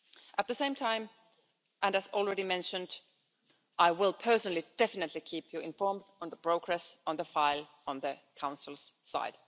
At the same time, and as already mentioned, I will personally definitely keep you informed on the progress on the file on the Council's side.